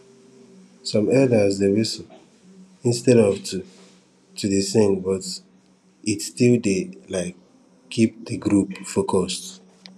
some elders dey whistle instead of to to dey sing but it still dey um keep de group focused